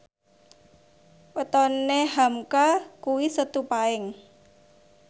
wetone hamka kuwi Setu Paing